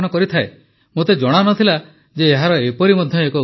ମୋତେ ଜଣାନଥିଲା ଯେ ଏହାର ଏପରି ମଧ୍ୟ ଏକ ଉପାଦାନ ରହିଛି